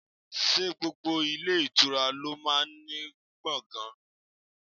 Ṣé gbogbo ilé ìtura lo máa ń ní gbọ̀ngan?